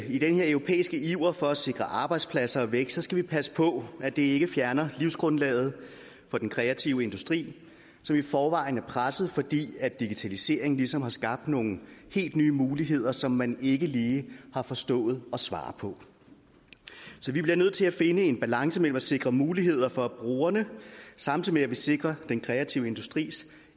i den her europæiske iver for at sikre arbejdspladser og vækst skal vi passe på at det ikke fjerner livsgrundlaget for den kreative industri som i forvejen er presset fordi digitaliseringen ligesom har skabt nogle helt nye muligheder som man ikke lige har forstået at svare på så vi bliver nødt til at finde en balance mellem at sikre muligheder for brugerne og samtidig sikre den kreative industris